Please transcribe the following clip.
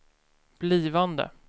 blivande